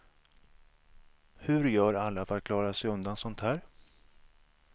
Hur gör alla för att klara sig undan sånt här.